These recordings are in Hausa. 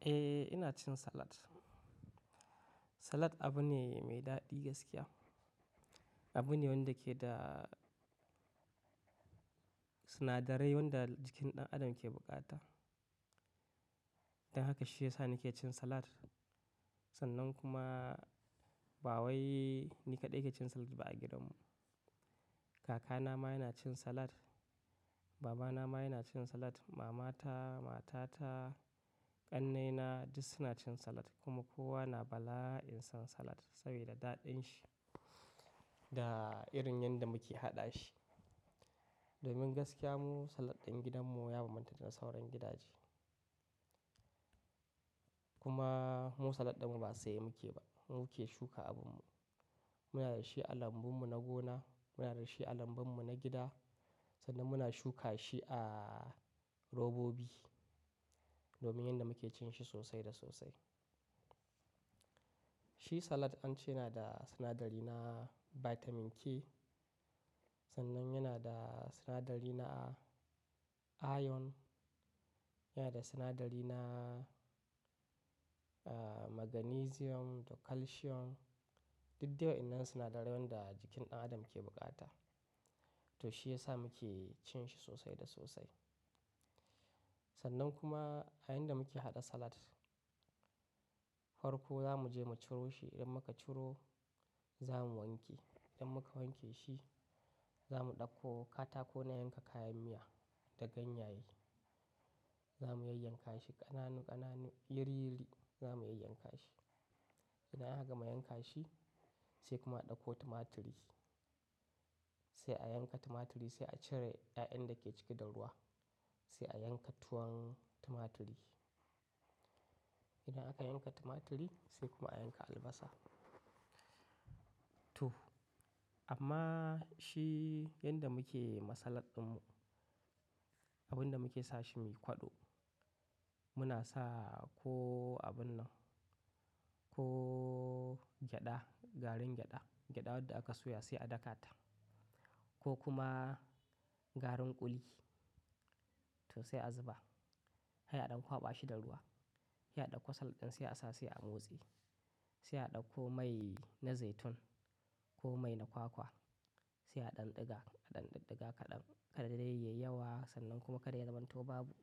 Eh, ina cin salad. Salad abu ne mai daɗi gaskiya. Abu ne wanda ke da sinadarai wanda jikin ɗan adam ke bukata. Don haka shi ya sa nake cin salad. Sannan kuma bawai ni kaɗai ke cin salad ba a gidanmu. Kakana ma yana cin salad, babana ma yana cin salad, mamata, matata, ƙannena duk suna cin salad kuma kowa na bala'in son salad saboda daɗin shi. Da irin yanda muke haɗa shi. Domin gaskiya mu salad ɗin gidanmu ya bambanta da na sauran gidaje. Kuma mu salad ɗinmu ba sai mu ke ba, mu ke shuka abunmu. Muna da shi a lambun mu na gona, muna da shi a lambun mu na gida sannan muna shuka shi a robobi domin yanda muke cin shi sosai da sosai. Shi salad an ce yana da sinadari na Vitamin K sannan yana da sinadari na iron, yana da sinadari na magnesium da calcium, duk duk wannan sinadarai wanda jikin ɗan adam ke bukata. To shi ya sa muke cin shi sosai da sosai. Sannan kuma a yayin da muke haɗa salad, farko za mu je mu ciro shi. Idan muka ciro, za mu wanke. Idan muka wanke shi, za mu ɗauko katako na yanka kayan miya da ganyaye. Za mu yayyanka shi ƙananu ƙananu, yiri yiri za mu yayyanka shi. Idan aka mayyanka shi sai kuma a ɗauko tumaturi. Sai a yanka tumaturi, sai a cire 'ya'yan da ke ciki da ruwa. Sai a yanka tuwon tumaturi. Idan aka yanka tumaturi sai kuma a yanka albasa. To amma shi yanda muke ma salad ɗinmu, Abun da muke sa shi mi kwado muna sa ko abun nan ko gyada, garin gyada. Gyada wadda aka soya sai a dakata ko kuma garin ƙuli to sai a zuba. Hai a ɗan kwaɓa shi da ruwa. Sai a ɗauko salad ɗin sai a sa sai motsi. Sai a ɗauko mai na zaitun ko mai na kwakwa sai a ɗanɗiga. A ɗanɗiddiga kaɗan. Kada dai yayi yawa sannan kuma kada ya zama to babu.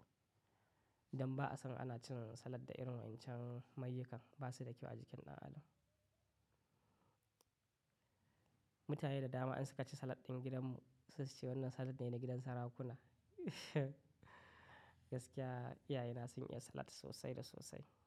Don ba'a son ana cin salad da irin wandan can. Mayukan ba su da kyau a jikin ɗan adam. Mutane da dama in suka ci salad ɗin gidanmu suna cewa wannan salad ne na gidan sarakuna. Gaskiya, iyaye na sun iya salad sosai da sosai.